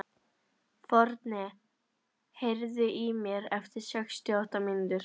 Forni, heyrðu í mér eftir sextíu og átta mínútur.